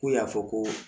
K'u y'a fɔ ko